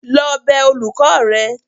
lọ bẹ olùkọ́ rẹ.!